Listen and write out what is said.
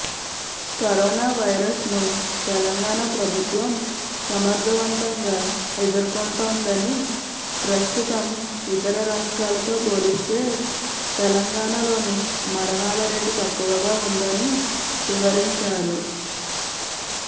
కరోనావైరస్ను తెలంగాణ ప్రభుత్వం సమర్థవంతంగా ఎదుర్కొంటోందని ప్రస్తుతం ఇతర రాష్ట్రాలతో పోలిస్తే తెలంగాణలోనే మరణాల రేటు తక్కువగా ఉందని వివరించారు